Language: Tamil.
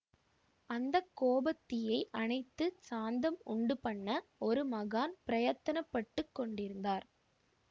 அந்த கோபத்தீயை அணைத்து சாந்தம் உண்டுபண்ண ஒரு மகான் பிரயத்தனப்பட்டுக் கொண்டிருந்தார்